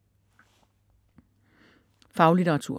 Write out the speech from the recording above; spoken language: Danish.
Faglitteratur